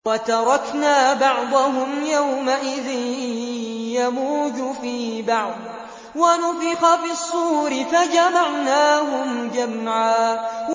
۞ وَتَرَكْنَا بَعْضَهُمْ يَوْمَئِذٍ يَمُوجُ فِي بَعْضٍ ۖ وَنُفِخَ فِي الصُّورِ فَجَمَعْنَاهُمْ جَمْعًا